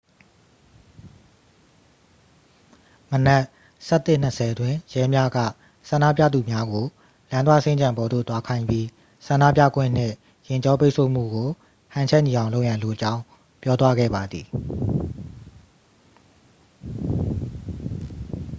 မနက် 11:20 တွင် ရဲများက ဆန္ဒပြသူများကို လူသွားစင်္ကြံပေါ်သို့ သွားခိုင်းပြီး ဆန္ဒပြခွင့်နှင့် ယာဉ်ကြောပိတ်ဆို့မှုကို ဟန်ချက်ညီအောင်လုပ်ရန်လိုကြောင်း ပြောသွားပါသည်